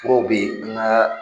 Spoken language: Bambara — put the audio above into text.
K'o be ŋaa